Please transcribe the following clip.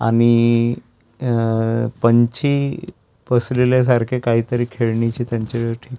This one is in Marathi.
आम्ही अअअ पंछी पसरविल्यासारखे काहीतरी खेळणीचे त्यांच्यावर ठे--